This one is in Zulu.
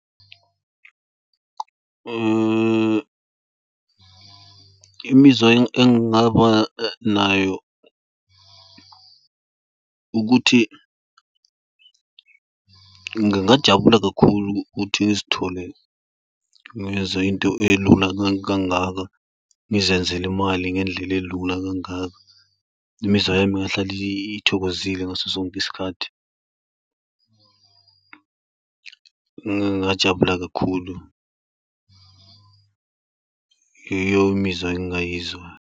Imizwa engabanayo ukuthi, ngingajabula kakhulu ukuthi ngizithole ngiyenza into elula kangaka, ngizenzele imali ngendlela elula kangaka. Imizwa yami ingahlala ithokozile ngaso sonke isikhathi, ngajabula kakhulu. Iyo imizwa engingayizwa.